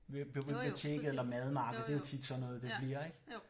Ved biblioteket eller madmarked det er jo tit sådan noget det bliver ik